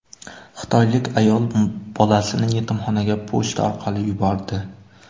Xitoylik ayol bolasini yetimxonaga pochta orqali yubordi.